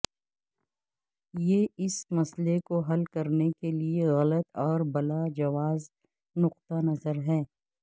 یہ اس مسئلے کو حل کرنے کے لئے غلط اور بلا جواز نقطہ نظر ہے